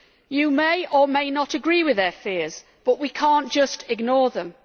You may or may not agree with their fears, but we cannot ignore them.